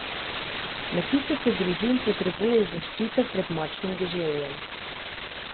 Na tisoče družin potrebuje zaščito pred močnim deževjem.